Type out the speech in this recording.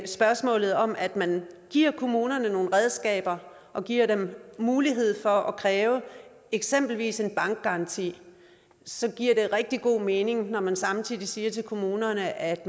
spørgsmålet om at man giver kommunerne nogle redskaber og giver dem mulighed for at kræve eksempelvis en bankgaranti så giver det rigtig god mening når man samtidig siger til kommunerne at